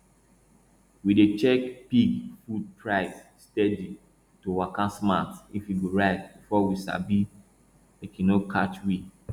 we dey check pig food price steady to waka smart if e go rise before we sabi make e no catch we